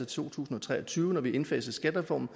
to tusind og tre og tyve når vi har indfaset skattereformen